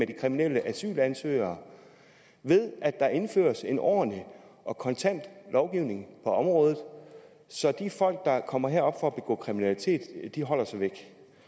de kriminelle asylansøgere ved at der indføres en ordentlig og kontant lovgivning på området så de folk der kommer herop for at begå kriminalitet holder sig væk